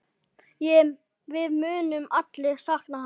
Við munum allir sakna hans.